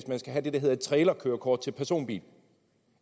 man skal have det der hedder et trailerkørekort til personbil